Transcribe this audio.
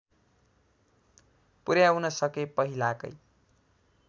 पुर्‍याउन सके पहिलाकै